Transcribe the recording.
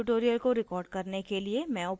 इस tutorial को record करने के लिए मैं उपयोग कर रही हूँ